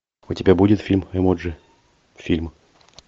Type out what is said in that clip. у тебя будет фильм эмоджи фильм